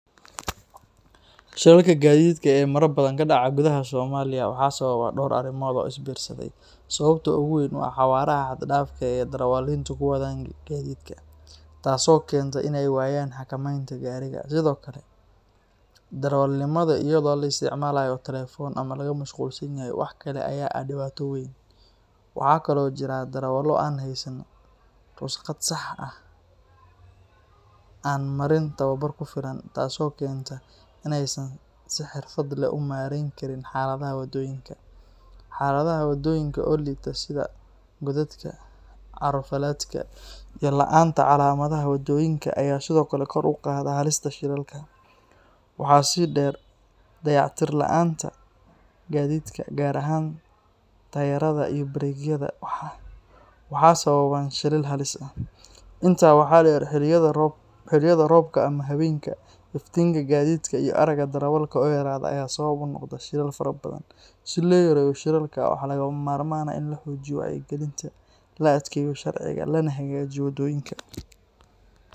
Shilalka gaadiidka ee mararka badan ka dhaca gudaha Soomaaliya waxaa sababa dhowr arrimood oo isbiirsaday. Sababta ugu weyn waa xawaaraha xad-dhaafka ah ee darawaliintu ku wadaan gaadiidka, taasoo keenta in ay waayaan xakamaynta gaariga. Sidoo kale, darawalnimada iyadoo la isticmaalayo telefoon ama laga mashquulsan yahay wax kale ayaa ah dhibaato weyn. Waxaa kaloo jira darawallo aan heysan ruqsad sax ah ama aan marin tababar ku filan, taasoo keenta in aysan si xirfad leh u maarayn karin xaaladaha waddooyinka. Xaaladaha waddooyinka oo liita sida godadka, carro-fallaadhka, iyo la’aanta calaamadaha waddooyinka ayaa sidoo kale kor u qaada halista shilalka. Waxaa sii dheer, dayactir la’aanta gaadiidka, gaar ahaan taayirrada iyo bareegyada, waxay sababaan shilal halis ah. Intaa waxaa dheer, xilliyada roobka ama habeenkii, iftiinka gaadiidka iyo aragga darawalka oo yaraada ayaa sabab u noqda shilal fara badan. Si loo yareeyo shilalka, waxaa lagama maarmaan ah in la xoojiyo wacyigelinta, la adkeeyo sharciga, lana hagaajiyo waddooyinka.